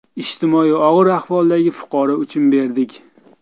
Ijtimoiy og‘ir ahvoldagi fuqaro uchun berdik.